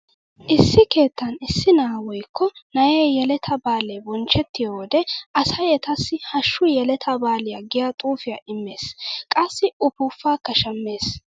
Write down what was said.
Issi keettan issi na'aa woykko na'ee yeletaa baalee bonchchettiyo wode asay etassi hashshu yeletaa baaliya giya xuufiya immees. Qassi ufuuppaakka shammees.